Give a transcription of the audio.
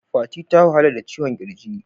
Fati ta wahala da ciwon kirji.